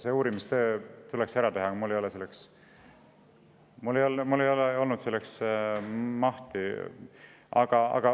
See uurimistöö tuleks ära teha, aga mul ei ole olnud selleks mahti.